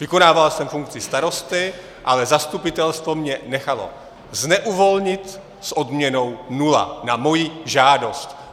Vykonával jsem funkci starosty, ale zastupitelstvo mě nechalo zneuvolnit s odměnou nula - na moji žádost.